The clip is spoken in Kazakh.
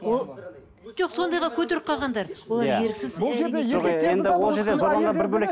жоқ сондайға көтеріп қалғандар олар еріксіз